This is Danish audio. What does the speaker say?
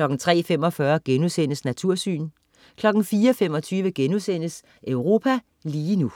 03.45 Natursyn* 04.25 Europa lige nu*